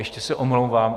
Ještě se omlouvám.